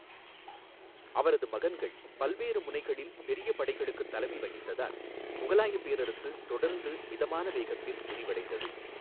அவரது மகன்கள் பல்வேறு முனைகளில் பெரிய படைகளுக்கு தலைமை வகித்ததால் முகலாயப் பேரரசு தொடர்ந்து மிதமான வேகத்தில் விரிவடைந்தது.